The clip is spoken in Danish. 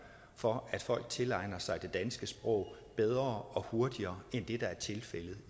for at folk tilegner sig det danske sprog bedre og hurtigere end det der er tilfældet